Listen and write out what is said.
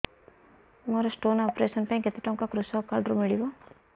ମୋର stone operation ପାଇଁ କେତେ ଟଙ୍କା କୃଷକ କାର୍ଡ ରୁ ମିଳିବ